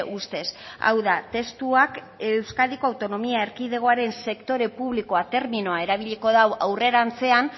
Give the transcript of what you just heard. ustez hau da testuak euskadiko autonomia erkidegoaren sektore publikoa terminoa erabiliko du aurrerantzean